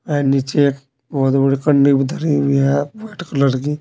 वेह नीचे बोहोत बड़ी कंडी भी धरी हुई है व्हाइट कलर की।